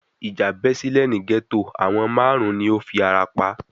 Ìjà bẹ́ sílẹ̀ ní gẹ́tò, àwọn márùn-ún ni ó fi ara pa